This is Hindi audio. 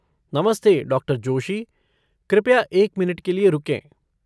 नमस्ते, डॉ. जोशी। कृपया एक मिनट के लिए रुकें।